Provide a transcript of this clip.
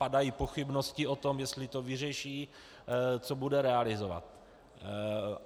Padají pochybnosti o tom, jestli to vyřeší, co bude realizovat.